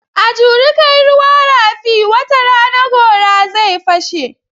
A juri kai ruwa rafi, wata rana gora zai fashe.